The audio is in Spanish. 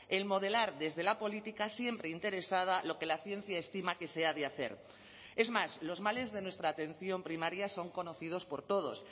el modelar desde la política siempre interesada lo que la ciencia estima que se ha de hacer es más los males de nuestra atención primaria son conocidos por todos